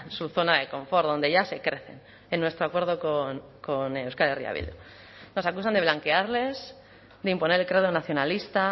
su zona de confort donde ya se crecen en nuestro acuerdo con euskal herria bildu nos acusan de bloquearles de imponer el credo nacionalista